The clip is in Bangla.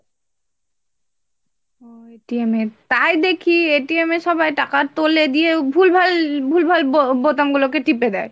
এর তাই দেখি এ সবাই টাকা তোলে দিয়ে ভুল ভাল ভুল ভাল বো~ বোতাম গুলো কে টিপে দেয়,